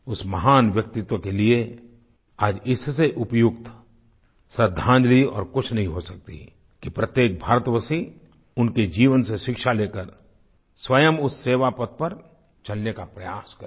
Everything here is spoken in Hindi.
उस महान व्यक्तित्व के लिए आज इससे उपयुक्त श्रद्धांजलि और कुछ नहीं हो सकती कि प्रत्येक भारतवासी उनके जीवन से शिक्षा लेकर स्वयं उस सेवापथ पर चलने का प्रयास करे